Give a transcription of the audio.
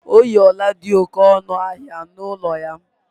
O yi ọla dị oké ọnụ ahịa n’olu ya.